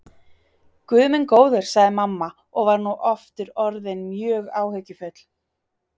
Guð minn góður, sagði mamma og var nú aftur orðin mjög áhyggjufull.